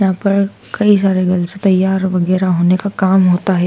यहां पर कई सारे गर्ल्स तैयार वगैरा होने का काम होता है।